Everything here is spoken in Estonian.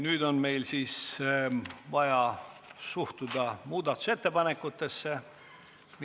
Nüüd on meil vaja avaldada suhtumist muudatusettepanekutesse.